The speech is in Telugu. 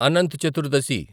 అనంత్ చతుర్దశి